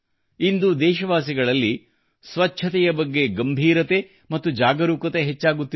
ಇಂದು ದೇಶವಾಸಿಗಳಲ್ಲಿ ಸ್ವಚ್ಛತೆಯ ಬಗ್ಗೆ ಗಂಬೀರತೆ ಮತ್ತು ಜಾಗರೂಕತೆ ಹೆಚ್ಚಾಗುತ್ತಿದೆ